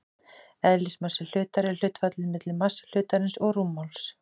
Eðlismassi hlutar er hlutfallið milli massa hlutarins og rúmmáls.